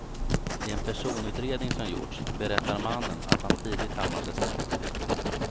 I en personutredning som gjorts berättar mannen att han tidigt hamnade snett.